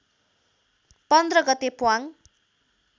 १५ गते प्वाङ